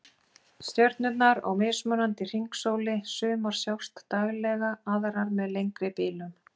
Stjörnurnar á mismunandi hringsóli, sumar sjást daglega, aðrar með lengri bilum